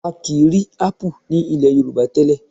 A kì í rí ápù ní ilẹ̀ Yorùbá tẹ́lẹ̀